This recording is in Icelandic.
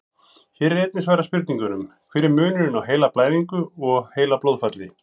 Hér er einnig svarað spurningunum: Hver er munurinn á heilablæðingu og heilablóðfalli?